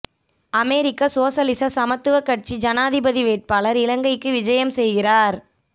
அமெரிக்க சோசலிச சமத்துவக் கட்சி ஜனாதிபதி வேட்பாளர் இலங்கைக்கு விஜயம் செய்கின்றார்